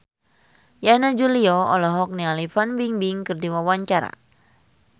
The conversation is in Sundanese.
Yana Julio olohok ningali Fan Bingbing keur diwawancara